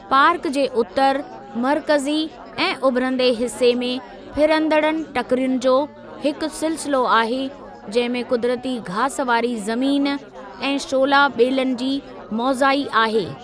Park जे उत्तर, मर्कज़ी ऐं उभिरंदे हिसे में फिरंदड़ टकिरियुनि जो हिकु सिलसिलो आहे, जंहिं में क़ुदिरती घास वारी ज़मीन ऐं शोला ॿेलनि जी मोज़ाई आहे।